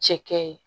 Cɛkɛ ye